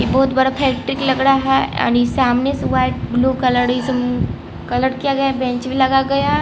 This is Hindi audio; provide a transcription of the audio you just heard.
बहुत बड़ा फैक्ट्री लग रहा है और सामने ब्लू कलर क कलर किया गया बैंच में लगा गया--